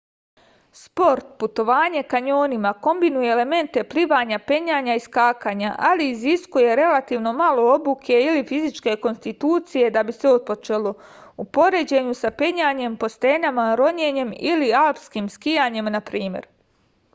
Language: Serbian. спорт - путовање кањонима комбинује елементе пливања пењања и скакања - али изискује релативно мало обуке или физичке конституције да би се отпочело у поређењу са пењањем по стенама роњењем или алспким скијањем на пример